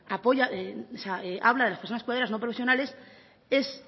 apoya o sea habla de las personas cuidadoras no profesionales es